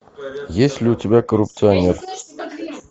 есть ли у тебя коррупционер